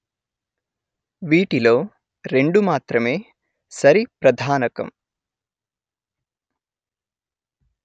వీటి లో రెండు మాత్రమే సరి ప్రధానకం